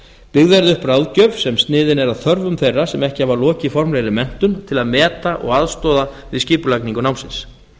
byggð verði upp ráðgjöf sem sniðin er að þörfum þeirra sem ekki hafa lokið formlegri menntun til að meta og aðstoða við skipulagningu námsins